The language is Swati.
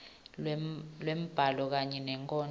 lwembhalo kanye nenkondlo